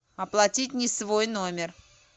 оплатить не свой номер